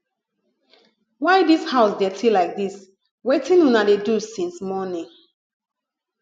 why dis house dirty like dis wetin una dey do since morning